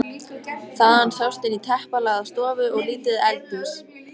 Þaðan sást inn í teppalagða stofu og lítið eldhús.